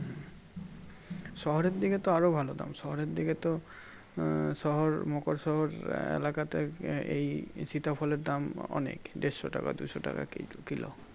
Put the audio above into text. শহরের দিকে তো আরো ভালো দাম শহরের দিকে তো আহ শহর মকর শহর এলাকাটাই এই সীতা ফলের দাম অনেক দেড়শো টাকা দুশো টাকা কি~কিলো